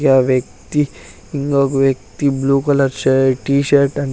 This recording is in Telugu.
యా వ్యక్తి ఇంగొక వ్యక్తి blue colour shirt T shirt అన్ --